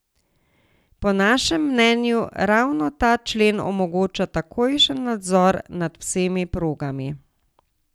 Po našem mnenju ravno ta člen omogoča takojšen nadzor nad vsemi programi.